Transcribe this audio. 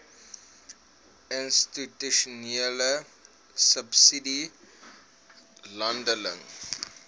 institusionele subsidie landelike